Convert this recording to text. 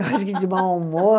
Eu acho que de mau humor.